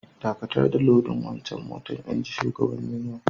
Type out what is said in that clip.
Dakatar da lodin wancan motan, inji shugaban union.